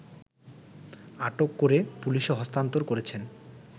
আটক করে পুলিশে হস্তান্তর করেছেন